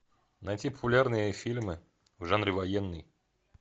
найти популярные фильмы в жанре военный